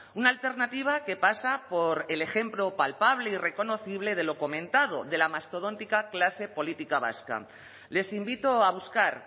una alternativa que pasa por el ejemplo palpable y reconocible de lo comentado de la mastodóntica clase política vasca les invito a buscar